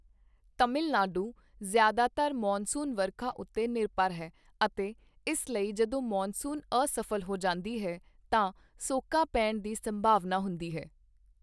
ਤਮਿਲ ਨਾਡੂ ਜ਼ਿਆਦਾਤਰ ਮੌਨਸੂਨ ਵਰਖਾ ਉੱਤੇ ਨਿਰਭਰ ਹੈ ਅਤੇ ਇਸ ਲਈ ਜਦੋਂ ਮੌਨਸੂਨ ਅਸਫ਼ਲ ਹੋ ਜਾਂਦੀ ਹੈ ਤਾਂ ਸੋਕਾ ਪੈਣ ਦੀ ਸੰਭਾਵਨਾ ਹੁੰਦੀ ਹੈ।